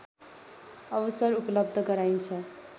अवसर उपलब्ध गराइन्छ